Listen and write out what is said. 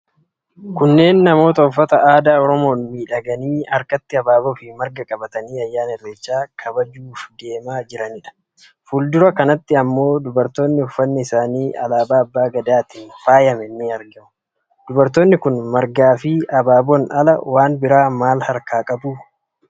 Kunneen namoota uffata aadaa Oromoon miidhaganii harkatti habaaboo fi marga qabatanii ayyaana Irreechaa kabajuu deemaa jiranidha. Fuuldura kanatti ammoo dubartoonni uffanni isaanii alaabaa Abbaa Gadaatiin faayame ni argamu. Dubartooti kun margaa fi habaaboon ala waan biraa maal harkaa qabu?